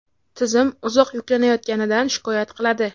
tizim uzoq yuklanayotganidan shikoyat qiladi.